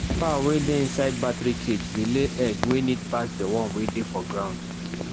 fowl wey dey inside battery cage dey lay egg wey neat pass the one wey dey for ground